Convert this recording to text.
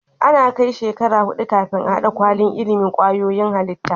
Ana Kai shekara hudu kafin a hada kwalin ilimin kwayoyin halitta